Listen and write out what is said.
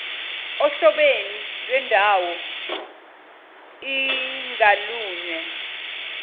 ohlobeni lwendawoi ngalunye